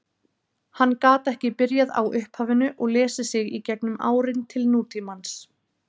Hann gat ekki byrjað á upphafinu og lesið sig í gegnum árin til nútímans.